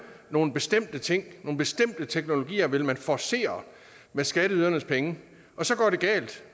nogle bestemte ting nogle bestemte teknologier vil man forcere med skatteydernes penge og så går det galt